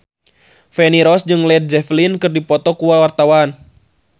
Feni Rose jeung Led Zeppelin keur dipoto ku wartawan